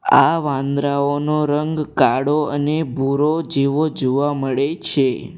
આ વાંદરાઓનો રંગ કાળો અને ભૂરો જેવો જોવા મળે છે.